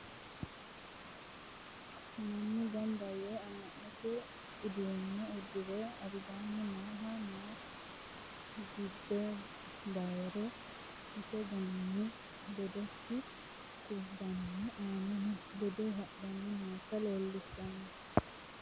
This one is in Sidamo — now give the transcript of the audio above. mannu ganba yee ama'note uddano uddire albanni noohu noo dibbe bayre isse gananni ledosi kubbano amannano ledo hadhani noota leelishano.